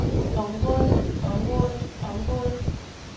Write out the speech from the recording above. området området området